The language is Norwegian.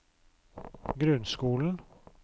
grunnskolen